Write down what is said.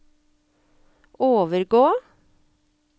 overgå